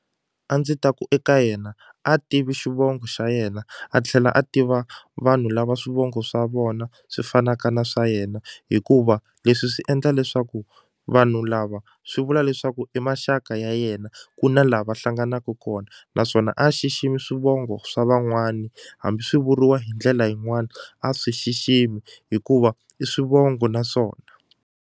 A ndzi ta ku eka yena a tivi xivongo xa yena a tlhela a tiva vanhu lava swivongo swa vona swi fanaka na swa yena hikuva leswi swi endla leswaku vanhu lava swi vula leswaku i maxaka ya yena ku na la va hlanganaku kona naswona a xiximi swivongo swa van'wani hambi swi vuriwa hi ndlela yin'wani a swi xiximi hikuva i swivongo naswona.